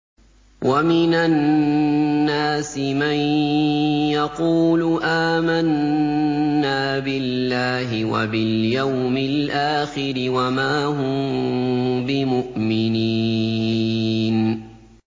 وَمِنَ النَّاسِ مَن يَقُولُ آمَنَّا بِاللَّهِ وَبِالْيَوْمِ الْآخِرِ وَمَا هُم بِمُؤْمِنِينَ